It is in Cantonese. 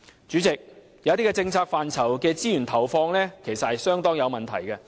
主席，有些政策範疇的資源投放其實相當有問題。